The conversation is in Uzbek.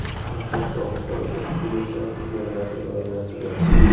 Qoraqalpog‘iston Respublikasi chegarasi doirasida.